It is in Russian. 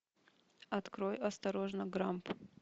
открой осторожно грамп